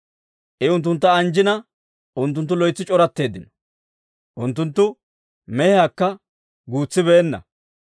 I unttuntta anjjina, unttunttu loytsi c'oratteeddino; unttunttu mehiyaakka guutsibeenna.